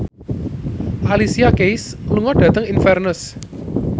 Alicia Keys lunga dhateng Inverness